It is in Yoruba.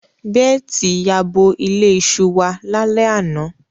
Beeti yabo ile iṣu wa lale ana